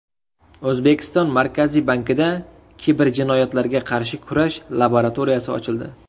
O‘zbekiston Markaziy bankida kiberjinoyatlarga qarshi kurash laboratoriyasi ochildi.